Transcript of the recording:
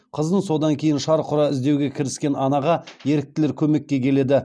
қызын содан кейін шарқ ұра іздеуге кіріскен анаға еріктілер көмекке келеді